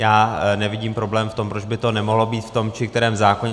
Já nevidím problém v tom, proč by to nemohlo být v tom či kterém zákoně.